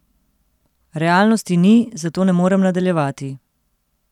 Realnosti ni, zato ne morem nadaljevati.